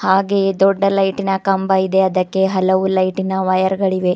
ಹಾಗೆಯೇ ದೊಡ್ಡ ಲೈಟಿ ನ ಕಂಬ ಇದೆ ಅದಕ್ಕೆ ಹಲವು ಲೈಟಿ ನ ವೈರ್ ಗಳಿವೆ.